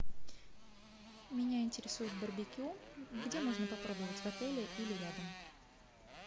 меня интересует барбекю где можно попробовать в отеле или рядом